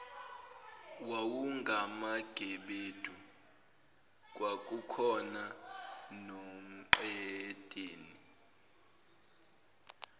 wawungamagebedu kwakukhona nomqedeni